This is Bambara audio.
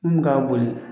Mun bɛ ka boli